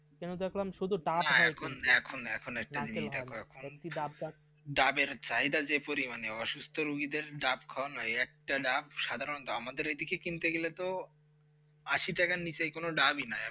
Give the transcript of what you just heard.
কেন দেখলাম শুদু ডাব হয় কিন্তু, নারকেল হয় না একটি ডাব গাছ, না না এখন না এখন একটা জিনিস রকম মানে যে পরী অসুস্থ রোগীদের ডাব খাওয়ানো একটা ডাব সাধারণত আমাদের ওদিকে কিন্তু এগুলো তো আশি টাকা নিচে কোন দাবি নাই